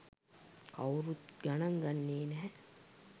කවුරුත් ගණන් ගන්නේ නැහැ.